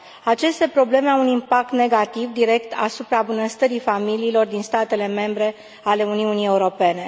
Aceste probleme au un impact negativ direct asupra bunăstării familiilor din statele membre ale Uniunii Europene.